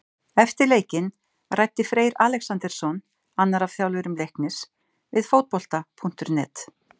Eftir leikinn ræddi Freyr Alexandersson, annar af þjálfurum Leiknis, við Fótbolta.net.